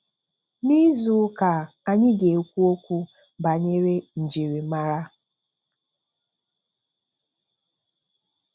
N'izu ụka a anyị ga-ekwu okwu banyere njirimara.